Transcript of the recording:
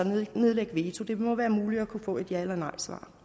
nedlægge veto det må være muligt at kunne få et ja eller nejsvar